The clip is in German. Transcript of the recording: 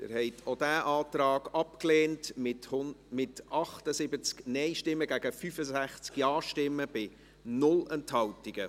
Sie haben auch diesen Antrag abgelehnt, mit 78 Nein- gegen 65 Ja-Stimmen bei 0 Enthaltungen.